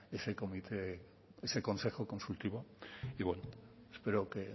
ese comité ese consejo consultivo y bueno espero que